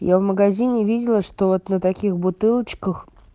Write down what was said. я в магазине видела что вот на таких бутылочках